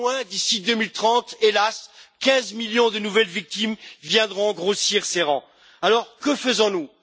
D'ici 2030, hélas, 15 millions de nouvelles victimes viendront grossir ces rangs. Alors que faisons nous?